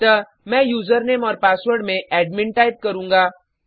अतः मैं यूजरनेम और पासवर्ड में एडमिन टाइप करुँगा